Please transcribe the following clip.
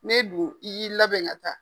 Ne don i k'i labɛn ka taa.